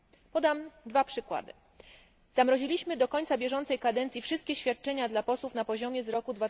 Podam dwa przykłady zamroziliśmy do końca bieżącej kadencji wszystkie świadczenia dla posłów na poziomie z roku